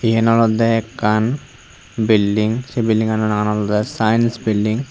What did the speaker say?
yen olodey ekkan bilidng sei bildingano nagan olodey saens bilding .